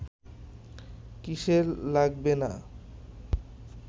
কিসে লাগবে না